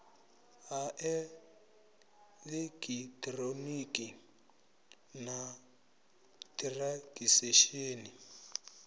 ha eḽekiṱhironiki na t hiransekisheni